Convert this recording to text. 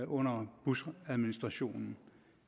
under bushadministrationen